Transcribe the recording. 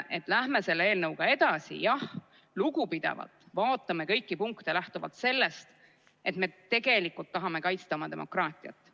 Läheme selle eelnõuga edasi, jah, lugupidavalt, vaatame kõiki punkte lähtuvalt sellest, et me tegelikult tahame kaitsta oma demokraatiat.